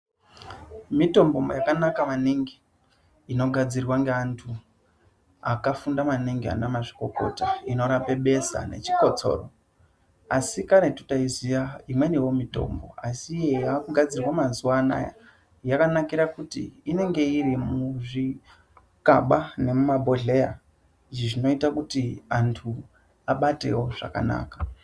Mitombo yakanaka maningi inogadzirwa ngevantu vakafunda maningi anamazvikota inorape besha nezvikotsoro ASI karetu taixiya imweniwo mitombo yaakigadzirwa mazuva ano yakanakira kuti inenge iri muzvigaba nemuzvibhohleya zvinoita kuti antu abatewo zvakanaka